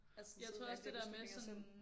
Altså sidde med alle de beslutninger selv